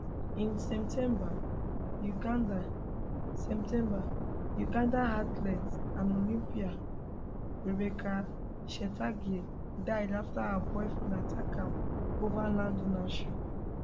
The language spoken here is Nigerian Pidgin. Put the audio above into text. in september ugandan september ugandan athlete and olympian rebecca cheptegei die afta her boyfriendattackam ova land ownership